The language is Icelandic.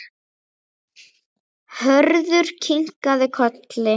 Hörður kinkaði kolli.